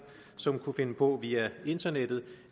som kunne finde på via internettet